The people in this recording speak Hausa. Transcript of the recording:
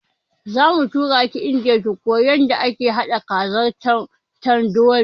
Zamu turaki indiya ki koya yanda ake haɗa kazar tandori